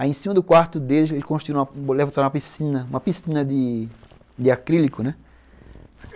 Aí em cima do quarto dele, ele construiu uma piscina, uma piscina de de acrílico, né?